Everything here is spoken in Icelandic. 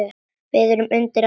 Við erum undir allt búin.